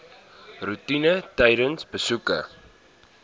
roetine tydens besoeke